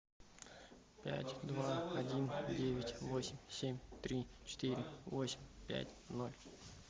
пять два один девять восемь семь три четыре восемь пять ноль